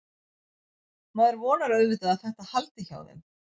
Maður vonar auðvitað að þetta haldi hjá þeim.